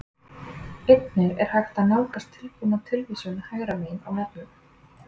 Einnig er hægt að nálgast tilbúna tilvísun hægra megin á vefnum.